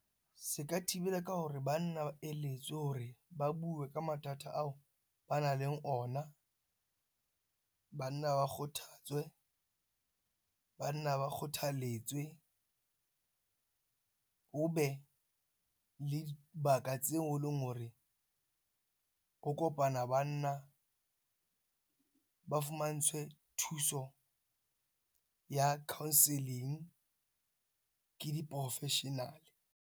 Se ka thibela ka hore banna ba eletswe hore ba bue ka mathata ao ba na leng ona. Banna ba kgothetswe. Banna ba kgothaletswe ho be le dibaka tseo e leng hore ho kopana banna ba fumantshwe thuso ya counselling ke di-professional.